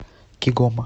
кигома